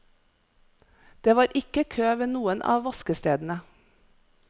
Det var ikke kø ved noen av vaskestedene.